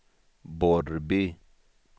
Borrby